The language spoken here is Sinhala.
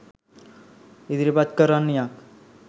ඉදිරිපත් කරන්නියක්